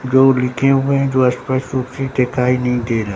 जो लिखे हुए है जो अस्पष्ट रूप से देखाई नहीं दे रहा।